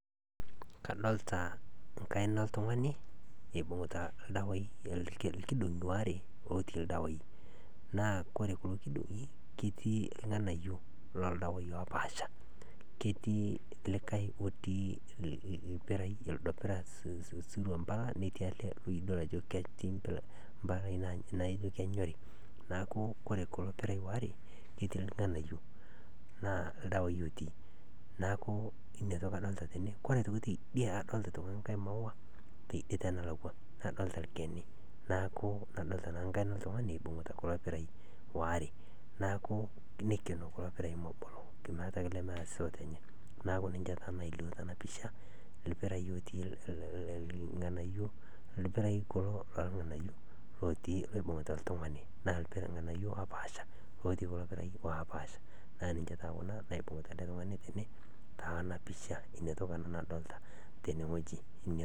Kadolta enkaina oltung'ani ibung'ita ildawai aare, irkidong'i are otii ildawai naa ore kulo kidong'i netii ildawai